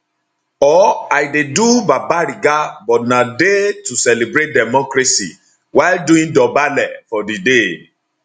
or i dey do babariga but na day to celebrate democracy while doing dobale for di day